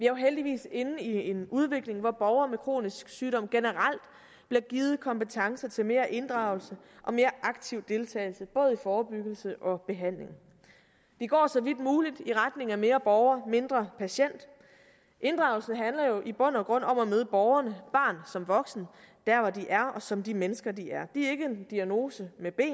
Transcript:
jo heldigvis inde i en udvikling hvor borgere med kronisk sygdom generelt bliver givet kompetencer til mere inddragelse og mere aktiv deltagelse både i forebyggelse og behandling vi går så vidt muligt i retning af mere borger mindre patient inddragelsen handler jo i bund og grund om at møde borgeren barn som voksen der hvor de er og som de mennesker de er de er ikke en diagnose med ben